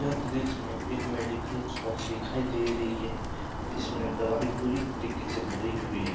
यह दृश्य में एक मेडिकल शॉप दिखाई दे रही है जिसमें दवाई पूरी तरीके से भरी हुई है।